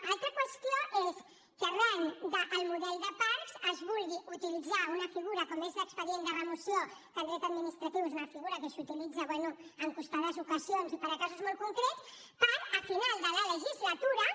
una altra qüestió és que arran del model de parcs es vulgui utilitzar una figura com és l’expedient de remoció que en dret administratiu és una figura que s’utilitza bé en comptades ocasions i per a casos molt concrets per a final de la legislatura